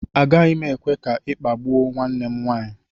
Agaghị m ekwe ka ị kpagbuo nwanne m nwaanyị